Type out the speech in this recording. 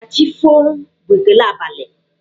Ka chi foo' bụ ekele abali.